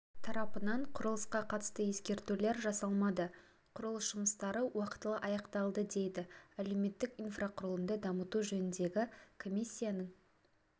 тарапынан құрылысқа қатысты ескертулер жасалмады құрылыс жұмыстары уақтылы аяқталды дейді әлеуметтік инфрақұрылымды дамыту жөніндегі комиссияның